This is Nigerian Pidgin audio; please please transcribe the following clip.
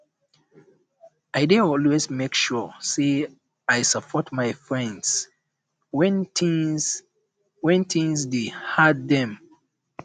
i um dey always make sure sey i um support my friends wen tins um wen tins um dey hard dem